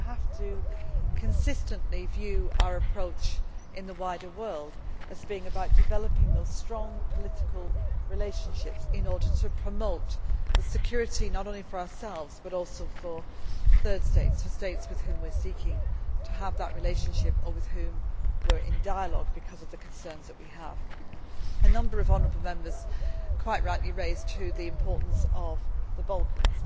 We have to consistently view our approach in the wider world as being about developing those strong political relationships in order to promote security, not only for ourselves but also for third states, for states with whom we are seeking to have that relationship or with whom we are in dialogue because of the concerns that we have. A number of honourable Members quite rightly raised the importance of the Balkans.